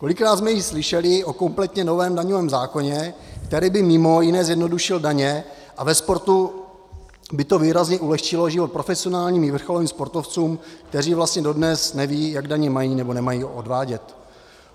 Kolikrát jsme již slyšeli o kompletně novém daňovém zákoně, který by mimo jiné zjednodušil daně a ve sportu by to výrazně ulehčilo život profesionálním i vrcholovým sportovcům, kteří vlastně dodnes nevědí, jak daně mají nebo nemají odvádět.